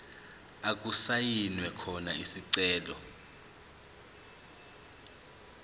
okusayinwe khona isicelo